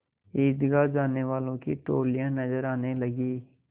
ईदगाह जाने वालों की टोलियाँ नजर आने लगीं